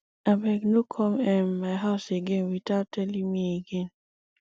abeg no come um my house again without telling me again